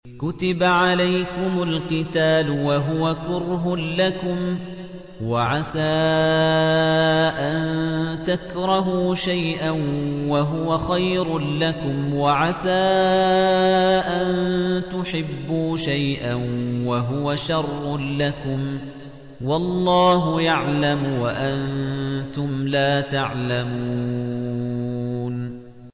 كُتِبَ عَلَيْكُمُ الْقِتَالُ وَهُوَ كُرْهٌ لَّكُمْ ۖ وَعَسَىٰ أَن تَكْرَهُوا شَيْئًا وَهُوَ خَيْرٌ لَّكُمْ ۖ وَعَسَىٰ أَن تُحِبُّوا شَيْئًا وَهُوَ شَرٌّ لَّكُمْ ۗ وَاللَّهُ يَعْلَمُ وَأَنتُمْ لَا تَعْلَمُونَ